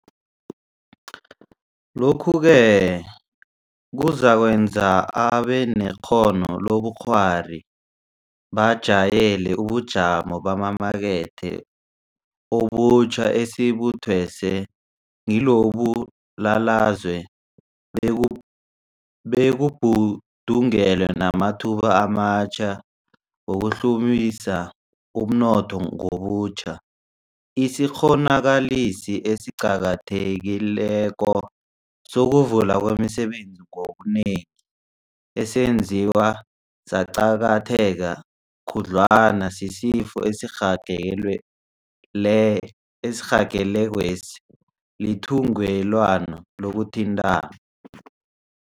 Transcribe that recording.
Lokhu-ke kuzakwenza abanekghono lobukghwari bajayele ubujamo bamamakethe obutjha esibuthweswe ngilombulalazwe beku bekubhudungelwe namathuba amatjha wokuhlumisa umnotho ngobutjha. Isikghonakalisi esiqakathekileko sokuvulwa kwemisebenzi ngobunengi, esenziwe saqakatheka khudlwana sisifo esirhagelekwesi, lithungelelwano lokuthintana.